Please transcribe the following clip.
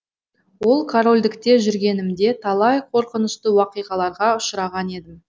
ол корольдікте жүргенімде талай қорқынышты уақиғаларға ұшыраған едім